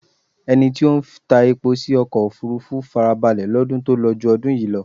Ẹni tí ó ń ta epo sí ọkọ̀ òfúrúfú farabalẹ̀ lọ́dún tó lọ ju ọdún yìí lọ.